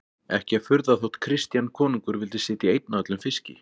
Ekki að furða þótt Christian konungur vildi sitja einn að öllum fiski.